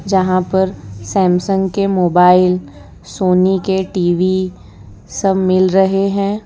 जहां पर सैमसंग के मोबाइल सोनी के टी_वी सब मिल रहे हैं।